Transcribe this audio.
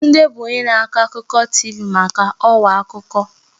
Tunde bụ onye na-akọ akụkọ TV maka ọwa akụkọ.